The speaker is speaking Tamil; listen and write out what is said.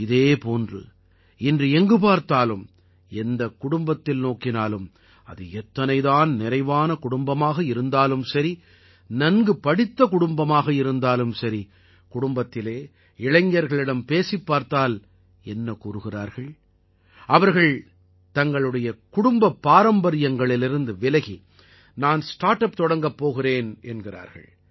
இதே போன்று இன்று எங்கு பார்த்தாலும் எந்தக் குடும்பத்தில் நோக்கினாலும் அது எத்தனைதான் நிறைவான குடும்பமாக இருந்தாலும் சரி நன்கு படித்த குடும்பமாக இருந்தாலும் சரி குடும்பத்தில் இளைஞர்களிடம் பேசிப் பார்த்தால் என்ன கூறுகிறார் அவர் தனது குடும்பப் பாரம்பரியங்களிலிருந்து விலகி நான் ஸ்டார்ட் அப் தொடங்கப் போகிறேன் என்கிறார்